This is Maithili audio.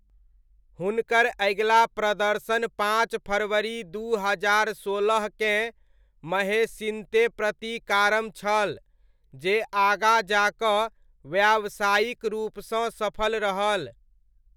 हुनकर अगिला प्रदर्शन पाँच फरवरी दू हजार सोलहकेँ महेशिन्ते प्रतिकारम छल, जे आगाँ जा कऽ व्यावसायिक रूपसँ सफल रहल।